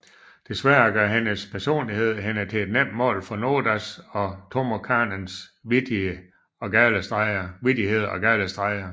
Desværre gør hendes personlighed hende til et nemt mål for Nodas og Tomokanes vittigheder og gale streger